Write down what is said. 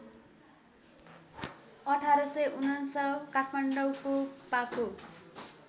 १८९९ काठमाडौँको पाको